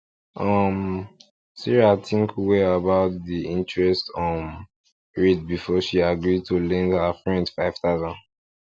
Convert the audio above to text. um sarah think well about the interest um rate before she agree to lend her friend five thousand